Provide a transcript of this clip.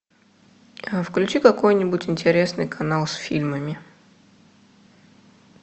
включи какой нибудь интересный канал с фильмами